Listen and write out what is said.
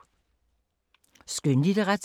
Skønlitteratur